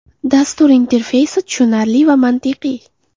Dastur interfeysi tushunarli va mantiqiy.